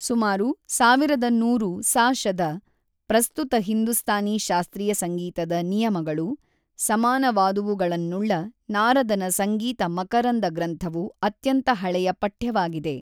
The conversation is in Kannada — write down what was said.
ಸುಮಾರು ಸಾವಿರದ ನೂರು ಸಾ.ಶದ, ಪ್ರಸ್ತುತ ಹಿಂದೂಸ್ತಾನಿ ಶಾಸ್ತ್ರೀಯ ಸಂಗೀತದ ನಿಯಮಗಳಿ ಸಮಾನವಾದವುಗಳನ್ನುಳ್ಳ ನಾರದನ ಸಂಗೀತ ಮಕರಂದ ಗ್ರಂಥವು ಅತ್ಯಂತ ಹಳೆಯ ಪಠ್ಯವಾಗಿದೆ.